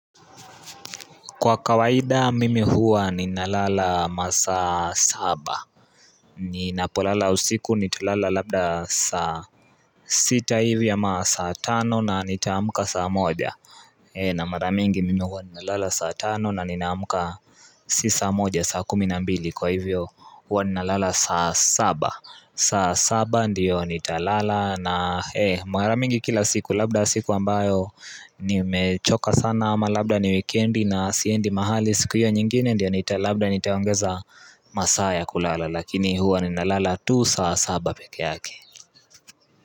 Kwa kawaida mimi huwa ni nalala masaa saba ni napolala usiku nitalala labda saa sita hivi ama saa tano na nitaamka saa moja na maramingi mimi huwa ninalala saa tano na ninaamka sisaa moja saa kuminambili kwa hivyo huwaninalala saa saba saa saba ndiyo nitalala na hee maramingi kila siku labda siku ambayo nimechoka sana ama labda ni wikendi na siendi mahali siku hiyo nyingine ndiyo nita labda nitaongeza masaa ya kulala lakini huwa ninalala tu saa saba pekee yake.